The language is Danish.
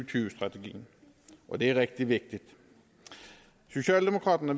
tyve strategien og det er rigtig vigtigt socialdemokraterne